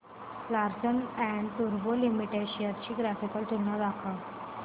Larsen and टुर्बो limited shares ची graphical तुलना दाखव